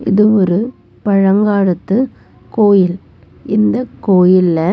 இது ஒரு பழங்காலத்து கோயில் இந்த கோயில்ல--